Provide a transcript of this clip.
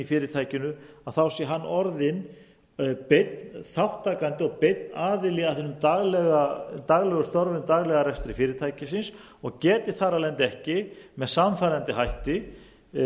fyrirtækinu sé hann orðinn beinn þátttakandi og beinn aðili að hinum daglegu störfum daglegum rekstri fyrirtækisins og geti þar af leiðandi ekki með sannfærandi hætti